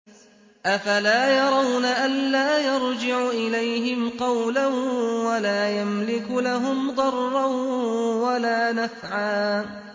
أَفَلَا يَرَوْنَ أَلَّا يَرْجِعُ إِلَيْهِمْ قَوْلًا وَلَا يَمْلِكُ لَهُمْ ضَرًّا وَلَا نَفْعًا